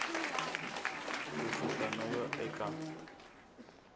ku suka no ya eka